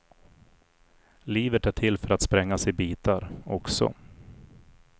Livet är till för att sprängas i bitar, också.